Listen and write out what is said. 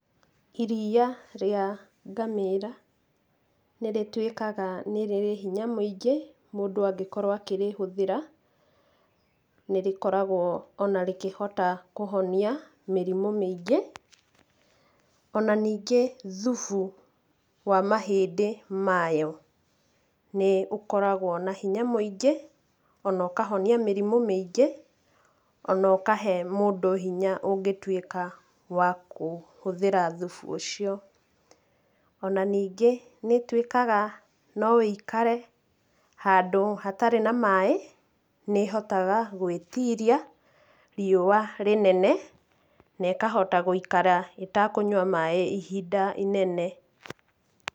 Iria rĩa ngamĩĩra nĩ rĩtuĩkaga nĩ rĩrĩ hinya mũingĩ mũndũ angĩkorũo akĩrĩhũthĩra, nĩ rĩkoragũo o na rĩkĩhota kũhonia mĩrimũ mĩingĩ ,o na ningĩ thufu wa mahĩndĩ mayo nĩ ũkoragwo na hinya mũingĩ o na ũkahonia mĩrimũ mĩingĩ,o na ũkahe mũndũ hinya ũngĩtuĩka wa kũhũthĩra thufu ũcio.O na ningĩ nĩ ĩtuĩkaga no ĩikare handũ hatarĩ na maĩ, nĩ ĩhotaga gũĩtiria riũwa rĩnene na ĩkahota gũikara ĩtakũnyua maĩ ihinda inene.